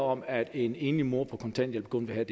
om at en enlig mor på kontanthjælp kun ville